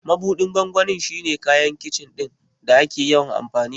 Mabuɗin gwangwani shi ne kayan Kicin ɗin da ake yawan amfani da shi.